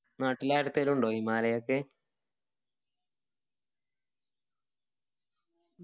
നാട്ടില് ആരുടെത്തെലും ഉണ്ടോ himalaya ത്തെ